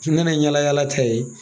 n nana n yaalayala t'a ye.